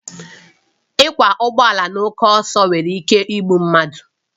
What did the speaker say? Ịkwọ ụgbọ ala na oke ọsọ nwere ike igbu mmadụ